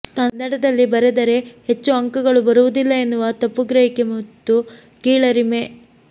ಕನ್ನಡದಲ್ಲಿ ಬರೆದರೆ ಹೆಚ್ಚು ಅಂಕಗಳು ಬರುವುದಿಲ್ಲ ಎನ್ನುವ ತಪ್ಪುಗ್ರಹಿಕೆ ಮತ್ತು ಕೀಳರಿಮೆ